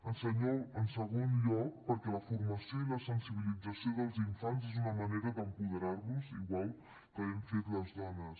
en segon lloc perquè la formació i la sensibilització dels infants és una manera d’apoderar los igual que hem fet les dones